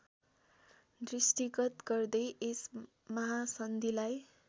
दृष्टिगत गर्दै यस महासन्धिलाई